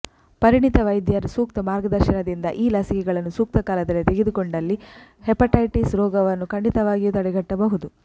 ಪರಿಣಿತ ವೈದ್ಯರ ಸೂಕ್ತ ಮಾರ್ಗದರ್ಶನದಿಂದ ಈ ಲಸಿಕೆಗಳನ್ನು ಸೂಕ್ತ ಕಾಲದಲ್ಲಿ ತೆಗೆದುಕೊಂಡಲ್ಲಿ ಹೆಪಟೈಟಿಸ್ ರೋಗವನ್ನು ಖಂಡಿತವಾಗಿಯೂ ತಡೆಗಟ್ಟಬಹುದು